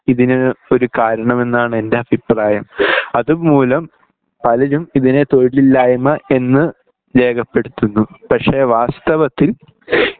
ഇതിന് ഒരു കാരണം എന്നാണ് എൻ്റെ അഭിപ്രായം അതുമൂലം പലരും ഇതിനെ തൊഴിലില്ലായ്മ എന്ന് രേഖപെടുത്തുന്നു പക്ഷെ വാസ്തവത്തിൽ